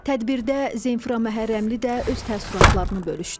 Tədbirdə Zemfira Məhərrəmli də öz təəssüratlarını bölüşdü.